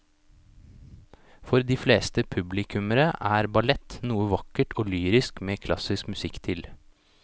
For de fleste publikummere er ballett noe vakkert og lyrisk med klassisk musikk til.